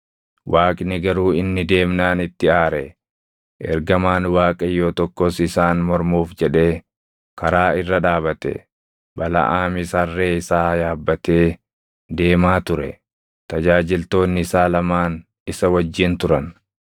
Waaqni garuu inni deemnaan itti aare; ergamaan Waaqayyoo tokkos isaan mormuuf jedhee karaa irra dhaabate. Balaʼaamis harree isaa yaabbatee deemaa ture; tajaajiltoonni isaa lamaan isa wajjin turan.